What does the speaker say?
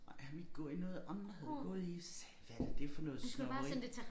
Nej han ville ikke gå i noget andre havde gået i så sagde jeg hvad da det for noget snobberi